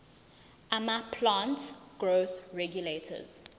amaplant growth regulators